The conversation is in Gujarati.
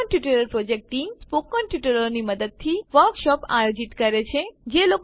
spoken tutorial project team spoken ટ્યુટોરિયલોની મદદથી વર્કશોપ આયોજિત કરે છે